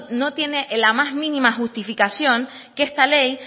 no tiene la más mínima justificación que esta ley